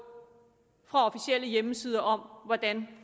fra officielle hjemmesider om hvordan